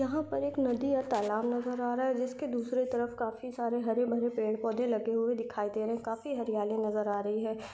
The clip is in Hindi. यहा पर एक नदी और तालाब नज़र आ रहा है जिसके दूसरे तरफ काफी सारे हरे भरे पेड़ पौधे लगे हुए दिखाई दे रहेकाफी हरयाली नज़र आ रही है।